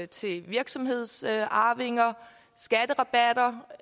til virksomhedsarvinger skatterabatter